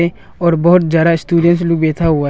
और बहुत ज्यादा स्टूडेंटस लू बैठा हुआ है।